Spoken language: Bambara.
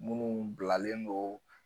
Munnu bilalen do